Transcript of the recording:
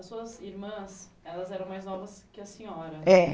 As suas irmãs, elas eram mais novas que a senhora. É